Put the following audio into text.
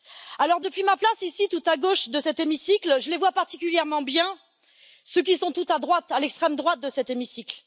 Alors, depuis ma place ici, tout à gauche de cet hémicycle, je les vois particulièrement bien ceux qui sont tout à droite, à l'extrême droite de cet hémicycle.